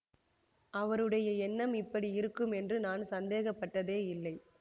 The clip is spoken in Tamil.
அவருடைய எண்ணம் இப்படி இருக்கும் என்று நான் சந்தேகப்பட்டதே இல்லை